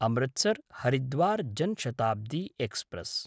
Amritsar Haridwar Jan Shatabdi express